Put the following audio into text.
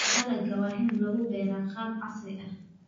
Dalagga waa in lagu beeraa qaab casri ah.